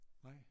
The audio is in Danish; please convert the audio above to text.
Nej